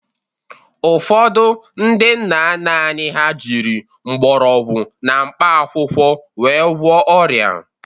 Ụfọdụ ndị nna nna anyị ha jịrị mgbọrọgwụ na mkpa akwụkwọ wee gwụọ ọrịa.